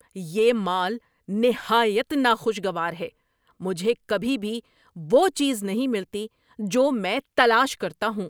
یہ مال نہایت ناخوشگوار ہے۔ مجھے کبھی بھی وہ چیز نہیں ملتی جو میں تلاش کرتا ہوں۔